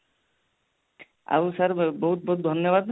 ଆଉ sir ବହୁତ ବହୁତ ଧନ୍ୟବାଦ